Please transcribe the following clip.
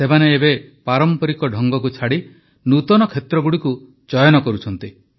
ସେମାନେ ଏବେ ପାରମ୍ପରିକ ଢଙ୍ଗକୁ ଛାଡ଼ି ନୂତନ କ୍ଷେତ୍ରଗୁଡ଼ିକୁ ଚୟନ କରୁଛନ୍ତି